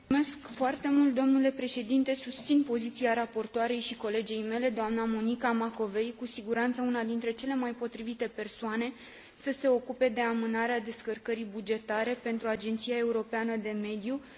Susțin poziția raportoarei și colegei mele, dna Monica Macovei, cu siguranță una dintre cele mai potrivite persoane să se ocupe de amânarea descărcării bugetare pentru Agenția Europeană de Mediu, dar și EFSA și EMA.